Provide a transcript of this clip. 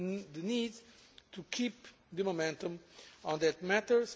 on this the need to keep the momentum on